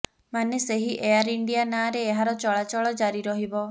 ମାନେ ସେହି Air India ନାଁରେ ଏହାର ଚଳାଚଳ ଜାରି ରହିବ